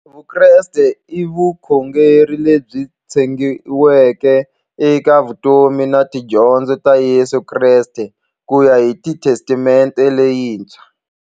Vukreste i vukhongeri lebyi tshegiweke eka vutomi na tidyondzo ta Yesu Kreste kuya hi Testamente leyintshwa.